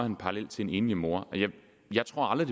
en parallel til en enlig mor jeg tror aldrig